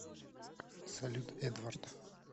салют эдвард